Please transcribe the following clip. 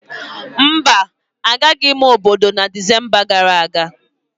mba, Agaraghị m obodo na Disemba gara aga